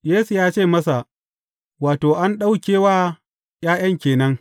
Yesu ya ce masa, Wato, an ɗauke wa ’ya’yan ke nan.